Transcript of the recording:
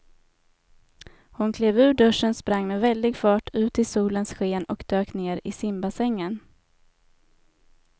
Hon klev ur duschen, sprang med väldig fart ut i solens sken och dök ner i simbassängen.